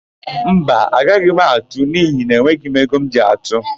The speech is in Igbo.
Mba, agaghị m atụ n'ihi na enweghi m ego m ji atụ.